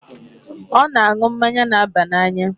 Ọ na-aṅụ mmanya na-aba n'anya.